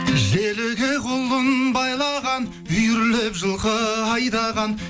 желіге құлын байлаған үйірлеп жылқы айдаған